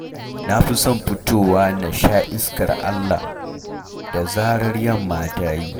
Na fi son fitowa na sha iskar Allah da zarar yamma ta yi